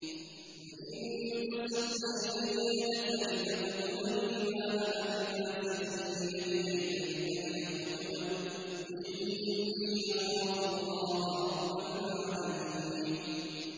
لَئِن بَسَطتَ إِلَيَّ يَدَكَ لِتَقْتُلَنِي مَا أَنَا بِبَاسِطٍ يَدِيَ إِلَيْكَ لِأَقْتُلَكَ ۖ إِنِّي أَخَافُ اللَّهَ رَبَّ الْعَالَمِينَ